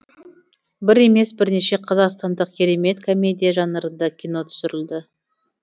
бір емес бірнеше қазақстандық керемет комедия жанрында кино түсірілді